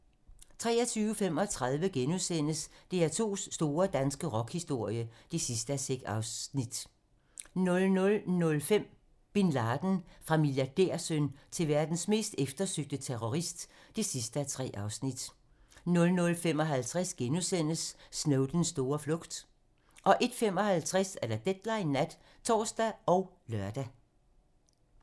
23:35: DR2's store danske rockhistorie (6:6)* 00:05: Bin Laden - Fra milliardærsøn til verdens mest eftersøgte terrorist (3:3) 00:55: Snowdens store flugt * 01:55: Deadline nat (tor og lør)